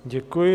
Děkuji.